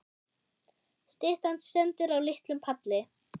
Styttan stendur á litlum palli.